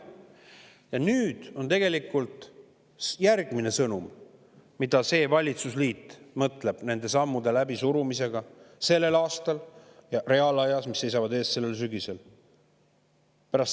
" Ja nüüd on tegelikult järgmine sõnum, mida see valitsusliit mõtleb sellel aastal nende sammude läbisurumise puhul, mis seisavad ees sellel sügisel.